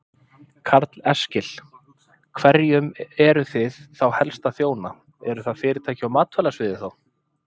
Karl Eskil: Hverjum eruð þið þá helst að þjóna, eru það fyrirtæki á matvælasviði þá?